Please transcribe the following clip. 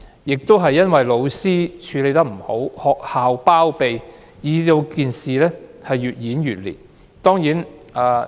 由於教師處理不善，學校又包庇，事件便越演越烈。